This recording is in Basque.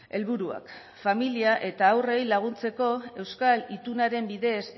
helburuak familia eta haurrei laguntzeko euskal itunaren bidez